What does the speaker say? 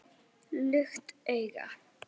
Lukt augu